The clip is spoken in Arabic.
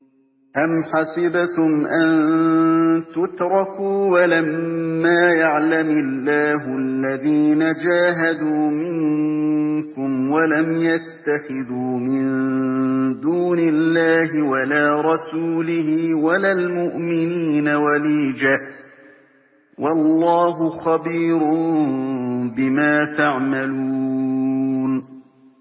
أَمْ حَسِبْتُمْ أَن تُتْرَكُوا وَلَمَّا يَعْلَمِ اللَّهُ الَّذِينَ جَاهَدُوا مِنكُمْ وَلَمْ يَتَّخِذُوا مِن دُونِ اللَّهِ وَلَا رَسُولِهِ وَلَا الْمُؤْمِنِينَ وَلِيجَةً ۚ وَاللَّهُ خَبِيرٌ بِمَا تَعْمَلُونَ